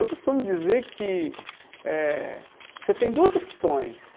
Eu costumo dizer que eh você tem duas opções.